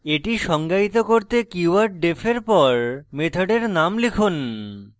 এটি সংজ্ঞায়িত করতে keyword def এর পর মেথডের name লিখুন